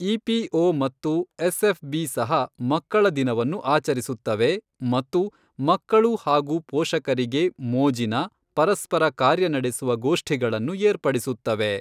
EPO. ಮತ್ತು SFB. ಸಹ ಮಕ್ಕಳ ದಿನವನ್ನು ಆಚರಿಸುತ್ತವೆ ಮತ್ತು ಮಕ್ಕಳು ಹಾಗೂ ಪೋಷಕರಿಗೆ ಮೋಜಿನ, ಪರಸ್ಪರ ಕಾರ್ಯನಡೆಸುವ ಗೋಷ್ಠಿಗಳನ್ನು ಏರ್ಪಡಿಸುತ್ತವೆ.